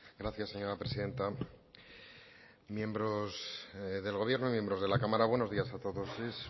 gracias señora presidenta miembros del gobierno y miembros de la cámara buenos días a todos es